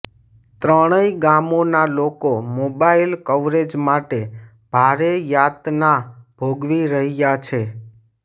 ત્રણેય ગામોના લોકો મોબાઈલ કવરેજ માટે ભારે યાતના ભોગવી રહ્યાં છે